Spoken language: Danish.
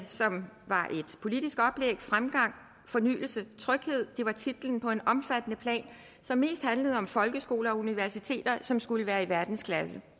som var et politisk oplæg fremgang fornyelse tryghed var titlen på en omfattende plan som mest handlede om folkeskoler og universiteter som skulle være i verdensklasse